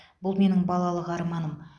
бұл менің балалық арманым